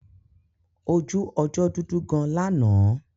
Ojú ọjọ́ dudu gan lánàá.